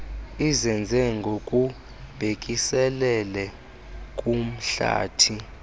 izenzo ngokubhekiselele kumhlathi